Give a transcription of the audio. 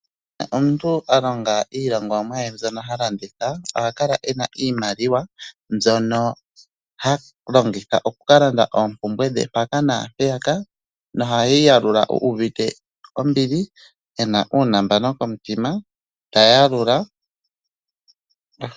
Omuntu a longa iilongomwa ye mbyono ha landitha oha kala ena iimaliwa, mbyono ha longitha okuka landa oompumbwe dhe mpaka naampeyaka noheyi yalula u uvite. ombili ena uunambano komutima, ta yalula.